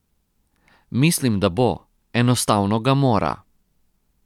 Mislim, da bo, enostavno ga mora.